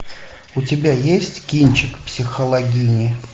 у тебя есть кинчик психологини